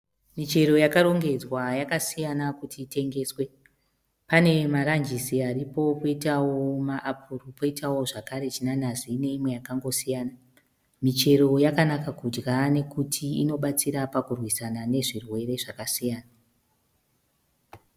Michero yakarongenzwa yakasiyana kuti itengeswe. Pane marajisi aripo, poitawo maapuro, poitawo zvekare zvinanazi neimwe yakangosiyana. Michero yakanaka kudya nekuti inobatsira pakurwisana nezvirwere zvakasiyana.